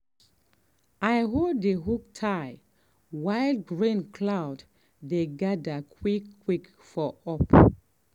i hold the hoe tight while rain cloud dey gather quick quick for up.